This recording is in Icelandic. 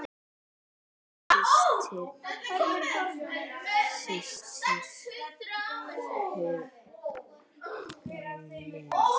Þín systir Hugrún Lind.